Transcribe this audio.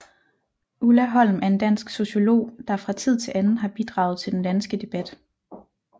Ulla Holm er en dansk sociolog der fra tid til anden har bidraget til den danske debat